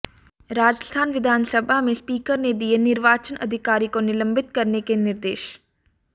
राजस्थान विधानसभा में स्पीकर ने दिए निर्वाचन अधिकारी को निलंबित करने के निर्देश